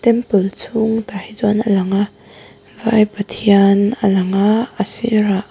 temple chhung tah hi chuan a lang a vai pathian a lang a a sirah--